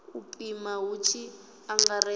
u pima hu tshi angaredzwa